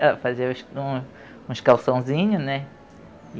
Ela fazia uns um uns calçãozinho, né?